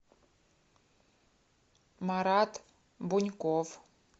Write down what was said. марат буньков